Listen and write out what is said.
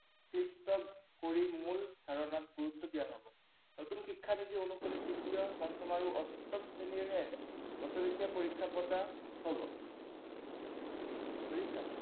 ধাৰণাত গুৰুত্ব দিয়া হব। নতুন শিক্ষানীতি অনুসৰি তৃতীয়, পঞ্চম আৰু অষ্টম শ্ৰেণীৰহে বছৰেকীয়া পৰীক্ষা পতা হব। বুজিছা?